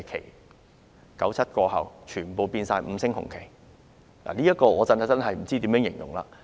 1997年之後，全部變為五星紅旗，我不知道怎樣形容這現象。